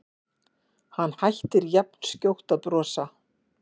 Hann hættir jafnskjótt að brosa.